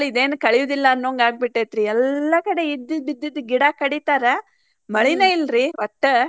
ಇದೇನ್ ಕಳಿಯುದಿಲ್ಲ ಅನ್ನಂಗ ಆಗಿಬಿಟ್ಟೆತಿ. ಎಲ್ಲಾ ಕಡೆ ಇದ್ದಿದ್ ಇದ್ದಿದ್ ಗಿಡಾ ಕಡಿತಾರ ಮಳಿನ ಇಲ್ರಿ ಒಟ್ಟ.